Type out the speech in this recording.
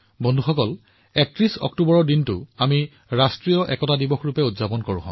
বন্ধুসকল ৩১ অক্টোবৰত আমি ৰাষ্ট্ৰীয় একতা দিৱস উদযাপন কৰো